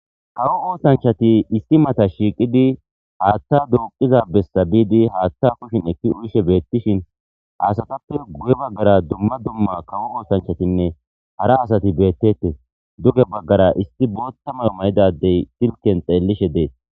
kawo oosanchati isti mata shiiqidi haaththa duuqiza bessa biidi haaththa kushin ekki uyishe beettishin asatappe guye baggara dumma dumma kawo oosanchatinne hara asati beettette duge baggara isti boottamayo may7idadey silken xeellishe dees